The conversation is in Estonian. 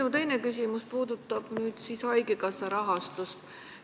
Minu teine küsimus puudutab haigekassa rahastust.